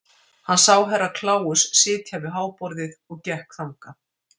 Hann sá Herra Kláus sitja við háborðið og gekk þangað.